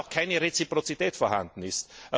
Zumal auch keine Reziprozität vorhanden ist.